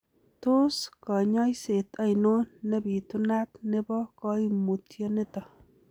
Tos koinyoiset oinon nepitunat nebo koimutioniton?